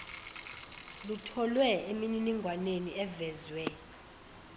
lutholwe emininingwaneni evezwe